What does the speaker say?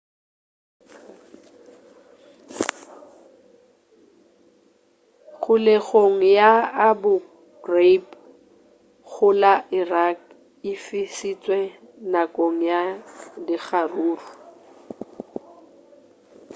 kgolegong ya abu ghraib go la iraq e fišitšwe nakong ya dikgaruru